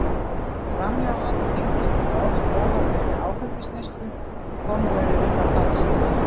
Framhjáhald tengist líka oft óhóflegri áfengisneyslu en komið verður inn á það síðar.